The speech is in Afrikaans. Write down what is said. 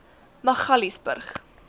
magaliesburg